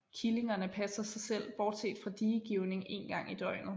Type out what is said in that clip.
Killingerne passer sig selv bortset fra diegivning én gang i døgnet